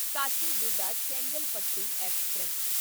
Kacheguda Chengalpattu express